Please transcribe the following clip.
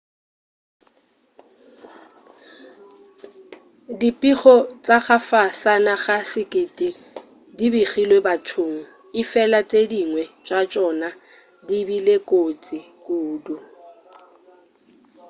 dipego tša ka fasana ga sekete di begilwe bathong efela tše dingwe tša tšona di bile kotsi kudu